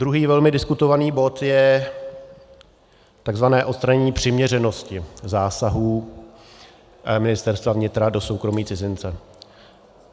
Druhý velmi diskutovaný bod je takzvané odstranění přiměřenosti zásahů Ministerstva vnitra do soukromí cizince.